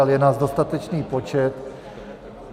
Ale je nás dostatečný počet.